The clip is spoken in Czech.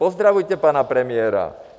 Pozdravujte pana premiéra.